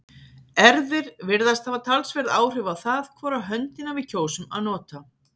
erfðir virðast hafa talsverð áhrif á það hvora höndina við kjósum að nota